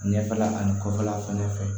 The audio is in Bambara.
Ɲɛfɛla ani kɔfɛla fɛnɛ fɛ